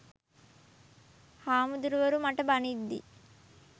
හැමුදුරුවරු මට බනිද්දි